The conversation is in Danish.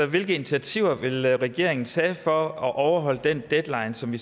hvilke initiativer vil regeringen tage for at overholde den deadline som